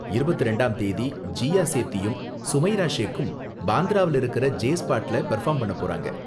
இருபத்து இரண்டாம் தேதி ஜீயா சேத்தியும் சுமைரா ஷேக்கும் பாந்த்ரால இருக்குற ஜே ஸ்பாட்ல பெர்ஃபார்ம் பண்ண போறாங்க.